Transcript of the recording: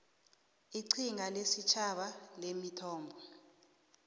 iqhinga lesitjhaba lemithombo